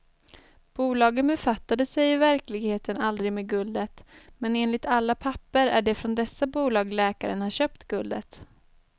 Bolagen befattade sig i verkligheten aldrig med guldet, men enligt alla papper är det från dessa bolag läkaren har köpt guldet.